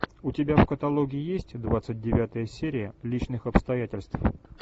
у тебя в каталоге есть двадцать девятая серия личных обстоятельств